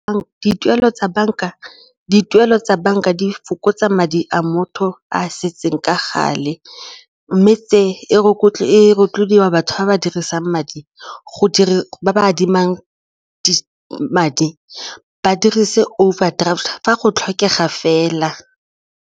Dituelo tsa banka di fokotsa madi a motho a setseng ka gale mme tse e rotloediwa batho ba ba dirisang madi go ba adima madi ba dirise overdraft fa go tlhokega fela.